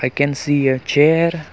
we can see a chair.